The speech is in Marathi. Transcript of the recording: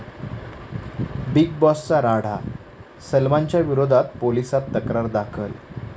बिग बाॅसचा राडा, सलमानच्या विरोधात पोलिसात तक्रार दाखल